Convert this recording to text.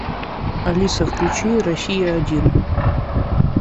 алиса включи россия один